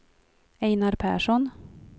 Einar Persson